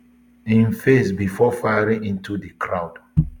im face bifor firing into di crowd